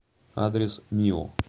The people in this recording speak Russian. адрес мио